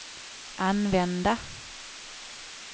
använda